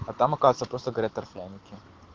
потом окажется просто горят торфяники